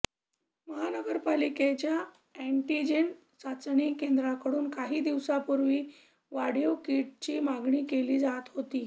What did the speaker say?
महानगरपालिकेच्या एँटिजेन चाचणी केंद्रांकडून काही दिवसांपूर्वी वाढीव किटची मागणी केली जात हाेती